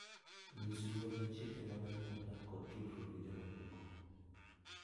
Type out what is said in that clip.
Nyis luor ne chike mag anyuolau kod tudruok gi jomamoko.